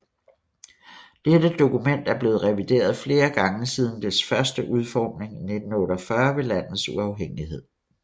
Dette dokument er blevet revideret flere gange siden dets første udformning i 1948 ved landets uafhængighed